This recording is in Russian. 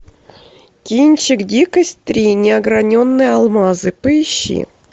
кинчик дикость три неограненные алмазы поищи